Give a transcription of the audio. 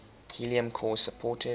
helium core supported